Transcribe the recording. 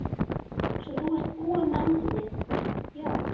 Svo þú ert búinn með handritið, já.